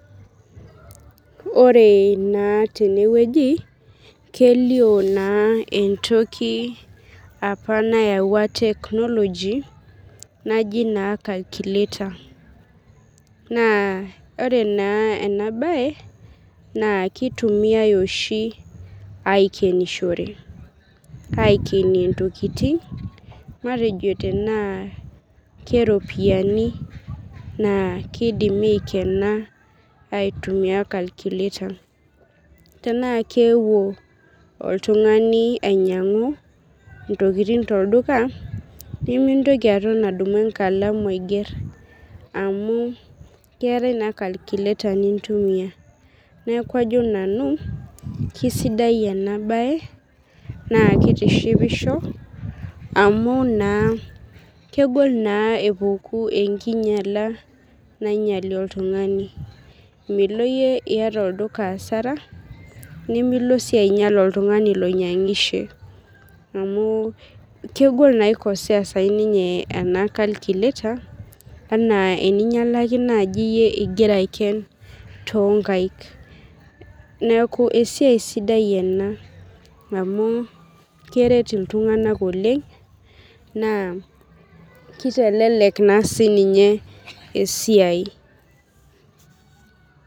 Ore na tenewueji kelio entoki nayawua. technology naji nai kalikulater na ore oshi enabae kitumiai oshi aikenishore matejo tana ropiyani kidimi aikena aitunua kalkulater tanaa keewuo oltungani ainyangu ntokitin tolduka nemintoki aton adumu enkalamu aiger amu keetae na kalkulater nintumia neaku ajo nanu kesidai enabae na kitishipisho amu kegol na epuku enkinyala nainyangi oltungani Milo yie asara nimilo si ainyal oltungani oinyangishie amu kegol pikosea ninye ena kalkulater ena eninyalaki nai iyie ingira aiken tonkaik neaku esiai sidai ena amu keret ltunganak oleng na kitelek na sininye esiaia.